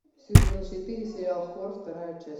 сезон четыре сериал хор вторая часть